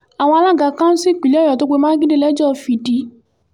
àwọn alága kánsù ìpínlẹ̀ ọ̀yọ́ tó pe mákindé lẹ́jọ́ fìdí